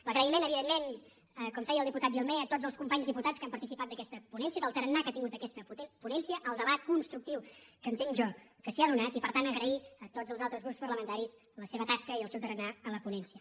l’agraïment evidentment com feia el diputat dilmé a tots els companys diputats que han participat d’aquesta ponència del tarannà que ha tingut aquesta ponència el debat constructiu que entenc jo que s’hi ha donat i per tant agrair a tots els altres grups parlamentaris la seva tasca i el seu tarannà a la ponència